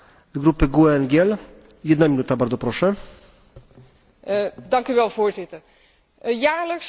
Voorzitter, jaarlijks worden miljoenen dieren door heel Europa gesleept alsof het strijkijzers zijn.